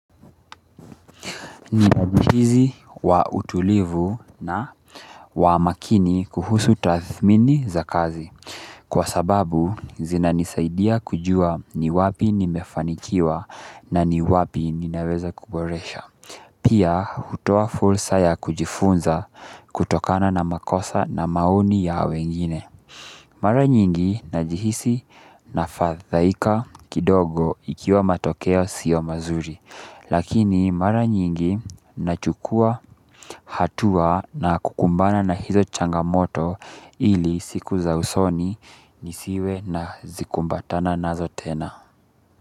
Vitabu hizi wa utulivu na wa makini kuhusu tathmini za kazi kwa sababu zina nisaidia kujua ni wapi nimefanikiwa na ni wapi ninaweza kuboresha pia hutoa fursa ya kujifunza kutokana na makosa na maoni ya wengine mara nyingi najihisi nafadhaika kidogo ikiwa matokeo sio mazuri lakini mara nyingi nachukua hatua na kukumbana na hizo changamoto ili siku za usoni nisiwe nazikumbatana nazo tena.